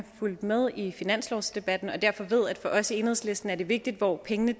fulgt med i finanslovsdebatten og derfor ved at det for os i enhedslisten er vigtigt hvor pengene